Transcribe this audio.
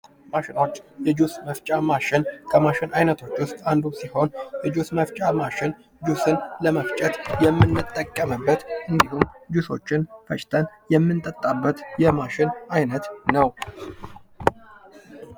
ማሸኖች የጁስ መስጫ ማሽን ከማሽን አይነቶች ውስጥ አንዱ ሲሆን የጁስ መፍጫ ማሽን ጁስን ለመፍጨት የምንጠቀምበት ጁሾችን የፈጭተን የምንጠጣበት የማሽን አይነት ነው::